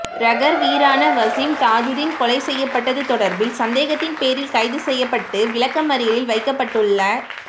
rugger வீரரான வஸீம் தாஜுதீன் கொலை செய்யப்பட்டது தொடர்பில் சந்தேகத்தின்பேரில் கைதுசெய்யப்பட்டு விளக்கமறியலில் வைக்கப்பட்டுள்ள